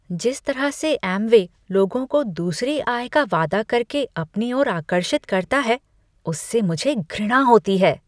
जिस तरह से एमवे लोगों को दूसरी आय का वादा करके अपनी ओर आकर्षित करता है उससे मुझे घृणा होती है।